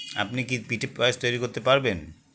আপনি কি পিঠে পায়েস তৈরি করতে পারবেন